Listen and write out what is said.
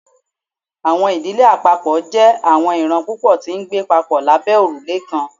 Awọn idile apapọ jẹ awọn iran pupọ ti ngbe papọ labẹ orule kan